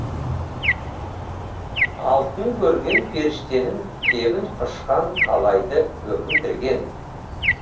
алтын көрген періштенің кебін құшқан талайды өкіндірген